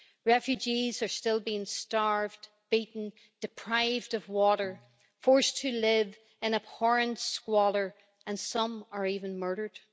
Refugees are still being starved, beaten, deprived of water, forced to live in abhorrent squalor and some are even murdered.